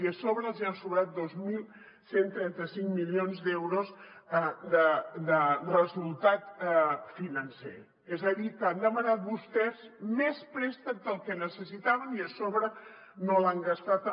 i a sobre els hi han sobrat dos mil cent i trenta cinc milions d’euros de resultat financer és a dir que han demanat vostès més préstec del que necessitaven i a sobre no l’han gastat